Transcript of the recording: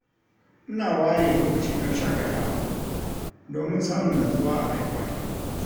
Ina ware lokaci don shaƙatawa domin samun natsuwa a rayuwata.